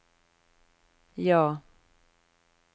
ja